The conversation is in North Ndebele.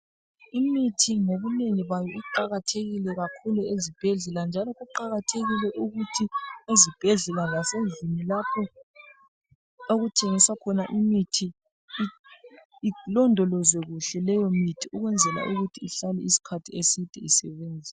Imithi ngobunengi bayo iqakathekile kakhulu ezibhedlela njalo kuqakathekile ukuthi ezibhedlela lasendlini lapho okuthengiswa khona imithi ilondolozwe kuhle leyomithi ukwenzela ukuthi ihlale isikhathi eside isebenza